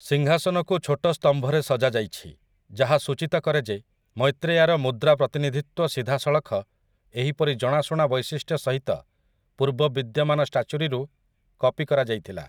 ସିଂହାସନକୁ ଛୋଟ ସ୍ତମ୍ଭରେ ସଜାଯାଇଛି, ଯାହା ସୂଚିତ କରେ ଯେ ମୈତ୍ରେୟାର ମୁଦ୍ରା ପ୍ରତିନିଧିତ୍ୱ ସିଧାସଳଖ ଏହିପରି ଜଣାଶୁଣା ବୈଶିଷ୍ଟ୍ୟ ସହିତ ପୂର୍ବବିଦ୍ୟମାନ ଷ୍ଟାଚୁରୀରୁ କପି କରାଯାଇଥିଲା ।